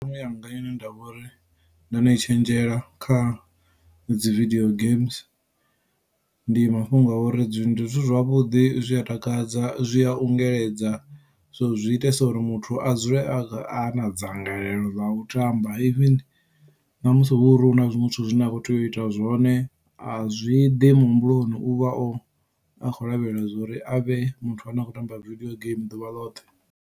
Thimu yanga ine ndavha uri ndo no I tshenzhela kha dzi video games ndi mafhungo a uri ndi zwithu zwavhuḓi zwi a takadza zwi a ungeledza so zwi itesa uri muthu a dzule a a na dzangalelo ḽa u tamba even namusi hu uri hu na zwiṅwe zwithu zwine a khou tea u ita zwone azwi ḓi muhumbuloni uvha a kho lavhelela zwauri a vhe muthu ane a khou tamba video game ḓuvha ḽoṱhe.